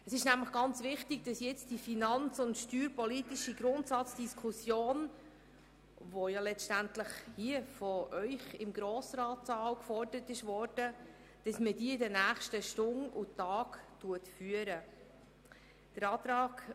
Es ist ganz wichtig, dass die finanz- und steuerpolitische Grundsatzdiskussion, die letztendlich hier im Grossratssaal gefordert wurde, in den nächsten Stunden und Tagen geführt wird.